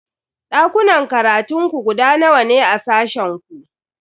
Dakunan karatun ku guda nawa ne a sashen ku?